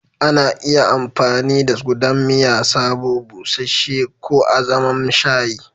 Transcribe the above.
Ana iya amfani da gudan miya sabo, busasshe ko azaman shayi.